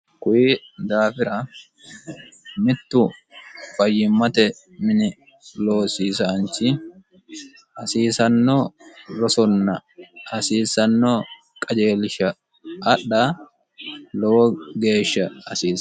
kuyi daafira mittu fayyimmate mini loosiisaanchi hasiisanno rosonna hasiisanno qajeelisha adha lowo geeshsha asiisa